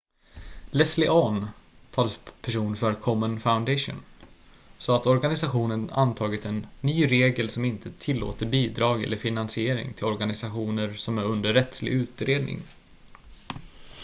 leslie aun talesperson för komen foundation sa att organisationen antagit en ny regel som inte tillåter bidrag eller finansiering till organisationer som är under rättslig utredning